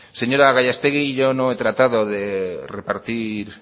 señora gallastegui yo no he tratado de repartir